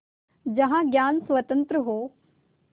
जहाँ ज्ञान स्वतन्त्र हो